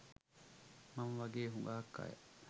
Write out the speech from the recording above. මම වගේ හුඟක් අය